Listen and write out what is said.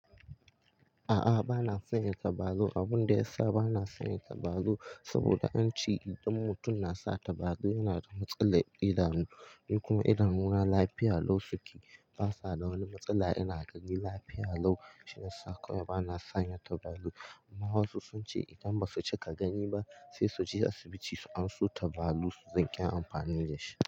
A'a, ba na sanya tabalu. Abun da ya sa ba na sanya tabalu saboda an ce idan mutum na sa tabalu yana da matsalar idanu. Ni kuma idan una lafiya lau suke ba sa da wani matsala. Ina gani lafiya lau shiya saka wai ba na sanya tabalu. Amma wasu sun ce idan ba su cika gani ba sai su je asibiti su anso tabalu su riƙi amfani da shi.